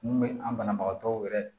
Mun bɛ an banabagatɔw yɛrɛ